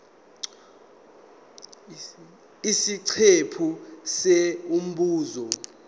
isiqephu c umbuzo